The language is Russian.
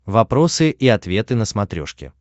вопросы и ответы на смотрешке